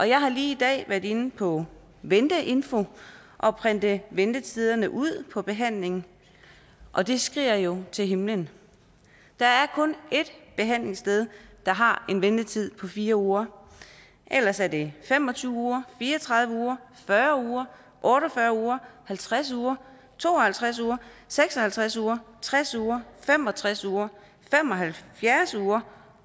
jeg har lige i dag været inde på venteinfo og printet ventetiderne ud på behandling og det skriger jo til himlen der er kun ét behandlingssted der har en ventetid på fire uger ellers er det fem og tyve uger fire og tredive uger fyrre uger otte og fyrre uger halvtreds uger to og halvtreds uger seks og halvtreds uger tres uger fem og tres uger fem og halvfjerds uger